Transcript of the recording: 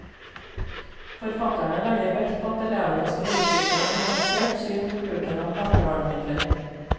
Forfatterne legger vekt på at elevene skal utvikle et nyansert syn på bruken av plantevernmidler.